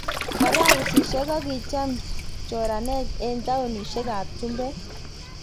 Barasesiek kokicham choraneg eng taonishek ap chumbeek